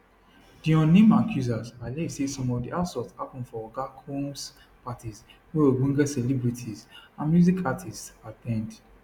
di unnamed accusers allege say some of di assaults happun for oga combs parties wey ogbonge celebrities and music artists at ten d